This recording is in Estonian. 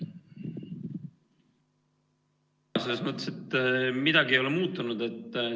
Selles mõttes ei ole midagi muutunud.